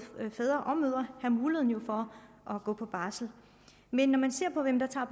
fædre og mødre have mulighed for at gå på barsel men når man ser på hvem der tager